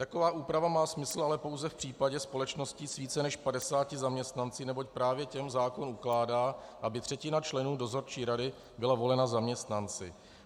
Taková úprava má smysl ale pouze v případě společností s více než 50 zaměstnanci, neboť právě těm zákon ukládá, aby třetina členů dozorčí rady byla volena zaměstnanci.